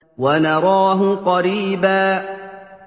وَنَرَاهُ قَرِيبًا